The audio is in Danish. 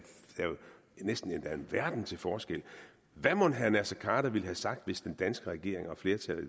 næsten er en verden til forskel hvad mon herre naser khader ville have sagt hvis den danske regering og flertallet